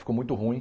Ficou muito ruim.